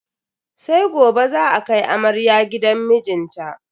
Sai gobe za a kai amarya gidan mijinta.